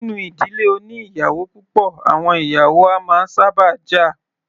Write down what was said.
Nínú ìdílé oní ìyàwó púpọ̀, àwọn ìyàwó a máa sábà jà.